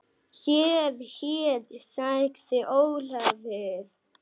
Heyr, heyr sagði Ólafur.